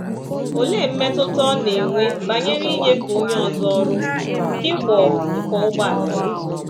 Olee mmetụta ọ na-enwe banyere inyefe onye ọzọ ọrụ nke ịkwọ ịkwọ ụgbọala ya?